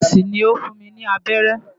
Nọ́ọ̀sì ni ó fún mi ní abẹ́rẹ́.